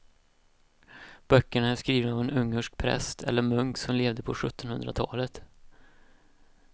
Böckerna är skrivna av en ungersk präst eller munk som levde på sjuttonhundratalet.